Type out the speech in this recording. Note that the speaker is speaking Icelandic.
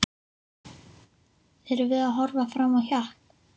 Erum við að horfa fram á hjakk?